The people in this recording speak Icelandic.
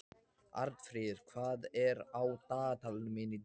Arnfríður, hvað er á dagatalinu mínu í dag?